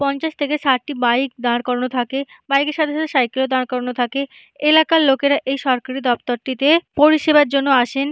পঞ্চাশ থেকে শাট টি বাইক দাঁড় করানো থাকে বাইকের সাথে সাথে সাইকেল - ও দাঁড় করানো থাকে এলাকার লোকেরা এই সরকারি দপ্তরটিতে পরিষেবার জন্য আসেন।